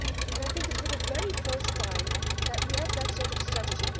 I think it is the very first time that we have had that sort of strategy.